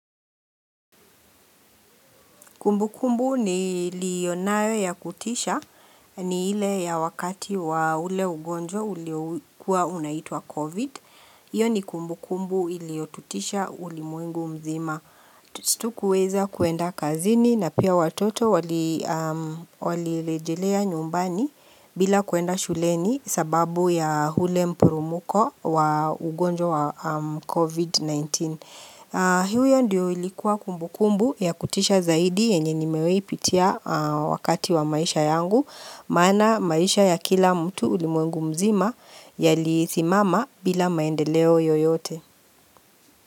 Kumbu kumbu niliyonayo ya kutisha ni ile ya wakati wa ule ugonjwa uliokuwa unaitwa COVID. Hiyo ni kumbu kumbu iliyotutisha ulimwengu mzima. Hatukuweza kuenda kazini na pia watoto walilejelea nyumbani bila kuenda shuleni sababu ya ule mpurumuko wa ugonjwa wa COVID-19. Hiyo ndio ilikuwa kumbu kumbu ya kutisha zaidi yenye nimewahi pitia wakati wa maisha yangu Maana maisha ya kila mtu ulimwengu mzima yalisimama bila maendeleo yoyote.